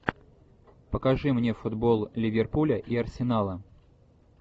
покажи мне футбол ливерпуля и арсенала